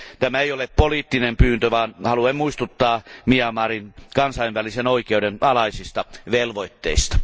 Tämä ei ole poliittinen pyyntö, vaan haluan muistuttaa Myanmarin kansainvälisen oikeuden alaisista velvoitteista.